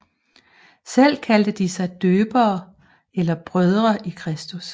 Selv kaldte de sig døbere eller brødre i Kristus